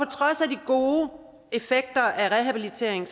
trods af de gode effekter af rehabilitering